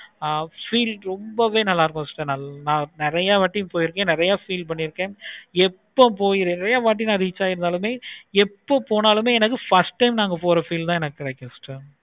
ஆஹ் feel ரொம்பவே நல்லாருக்கும் sister நா நெறைய வாட்டி போயிருக்கேன். எப்போ போய் ஒரே வாட்டி reach ஆனாலும் எப்போ போனாலும் எனக்கு first time நாங்க போற feel தான் இருக்கும்.